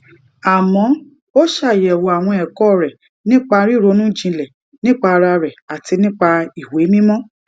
àmó ó ṣàyèwò àwọn èkó rè nípa ríronú jinlè nípa ara rè àti nípa ìwé mímó